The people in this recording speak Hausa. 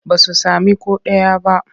Ba su sami ko ɗaya ba.